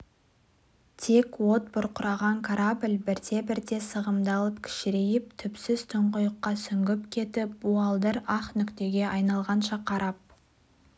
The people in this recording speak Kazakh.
тек от бұрқыраған корабль бірте-бірте сығымдалып кішірейіп түпсіз тұңғиыққа сүңгіп кетіп буалдыр ақ нүктеге айналғанша қарап